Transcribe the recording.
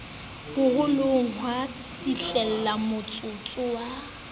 bo hlollang ha fihlamotsotso wa